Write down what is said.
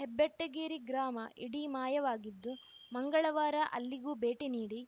ಹೆಬ್ಬೆಟ್ಟಗೇರಿ ಗ್ರಾಮ ಇಡೀ ಮಾಯವಾಗಿದ್ದು ಮಂಗಳವಾರ ಅಲ್ಲಿಗೂ ಭೇಟಿ ನೀಡಿ